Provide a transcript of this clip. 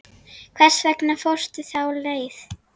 Hvers vegna fórstu þá leið?